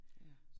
Ja